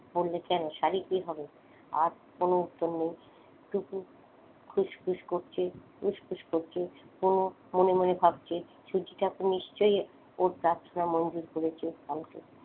বললে কেন শাড়ি কি হবে? আর কোন উত্তর নেই টুকু খুসখুস করছে খুসখুস করছে হুমু মনে মনে ভাবছে ঠাকুর নিশ্চয়ই ওর প্রার্থনা মঞ্জুর করেছে কালকে।